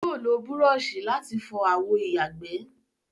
Yóò lo búrọọṣì láti fọọ àwọ ìyàgbẹ́